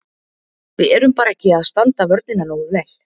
Við erum bara ekki að standa vörnina nógu vel.